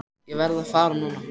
En ég verð að fara núna.